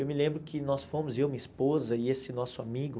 Eu me lembro que nós fomos, eu, minha esposa e esse nosso amigo.